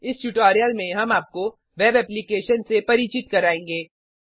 इस ट्यूटोरियल में हम आपको वेब एप्लीकेशन से परिचित करायेंगे